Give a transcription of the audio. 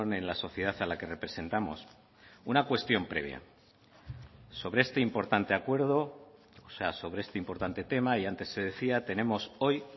en la sociedad a la que representamos una cuestión previa sobre este importante acuerdo o sea sobre este importante tema y antes se decía tenemos hoy